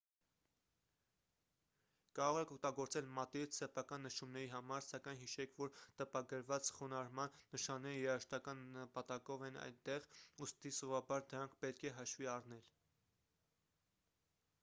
կարող եք օգտագործել մատիտ սեփական նշումների համար սակայն հիշեք որ տպագրված խոնարհման նշանները երաժշտական նպատակով են այնտեղ ուստի սովորաբար դրանք պետք է հաշվի առնել